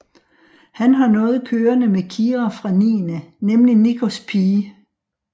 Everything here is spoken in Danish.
Han har noget kørende med Kira fra Niende nemlig Nickos pige